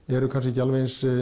eru kannski ekki alveg eins